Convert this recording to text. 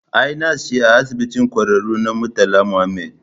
Ai nas ce a Asibitin Ƙwararru na Murtala Mohammed